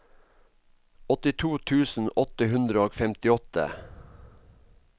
åttito tusen åtte hundre og femtiåtte